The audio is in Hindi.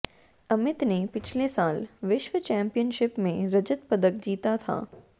अमित ने पिछले साल विश्व चैंपियनशिप में रजत पदक जीता था